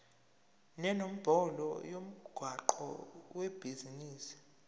nenombolo yomgwaqo webhizinisi